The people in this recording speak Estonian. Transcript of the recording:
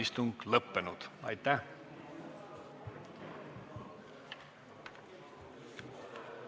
Istungi lõpp kell 19.47.